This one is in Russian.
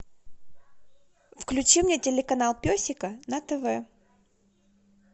включи мне телеканал песика на тв